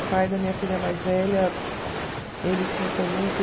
O pai da minha filha mais velha, ele sim foi muito...